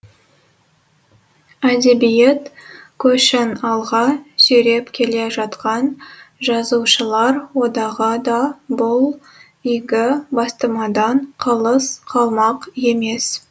әдебиет көшін алға сүйреп келе жатқан жазушылар одағы да бұл игі бастамадан қалыс қалмақ емес